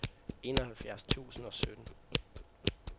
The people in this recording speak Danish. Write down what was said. enoghalvfjerds tusind og sytten